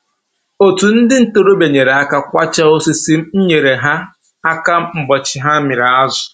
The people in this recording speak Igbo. Otu ndị ntoroọbịa nyere aka kwachaa osisi, m nyere ha aka ụbọchị ha mịrị azụ